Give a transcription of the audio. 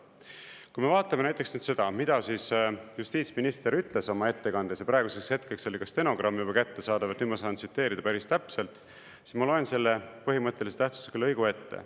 Kui me vaatame näiteks seda, mida justiitsminister ütles oma ettekandes, ja praeguseks hetkeks oli ka stenogramm juba kättesaadav, et nüüd ma saan tsiteerida päris täpselt, siis ma loen selle põhimõttelise tähtsusega lõigu ette.